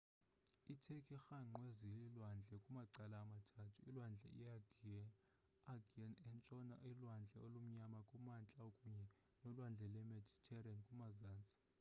i turkey irhangqwe ziilwandle kumacala amathathu ulwandle i-aegean entshona ulwandle olumnyama kumantla kunye nolwandle lwemediterranean kumazantsi